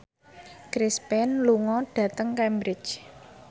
Chris Pane lunga dhateng Cambridge